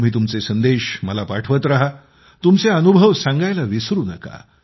तुम्ही तुमचे संदेश मला पाठवत रहा तुमचे अनुभव सांगण्यास विसरू नका